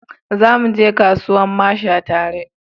Za mu je kasuwan masha tare